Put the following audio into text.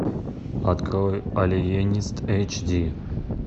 открой алиенист эйч ди